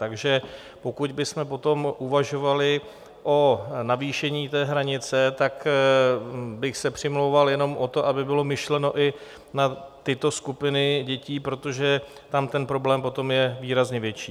Takže pokud bychom potom uvažovali o navýšení té hranice, tak bych se přimlouval jenom o to, aby bylo myšleno i na tyto skupiny dětí, protože tam ten problém potom je výrazně větší.